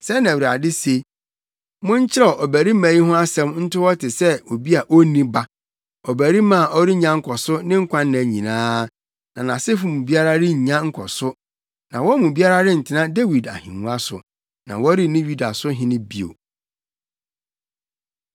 Sɛɛ na Awurade se: “Monkyerɛw ɔbarima yi ho asɛm nto hɔ te sɛ obi a onni ba, ɔbarima a ɔrennya nkɔso ne nkwa nna nyinaa na nʼasefo mu biara rennya nkɔso, na wɔn mu biara rentena Dawid ahengua so na wɔrenni Yuda so hene bio.”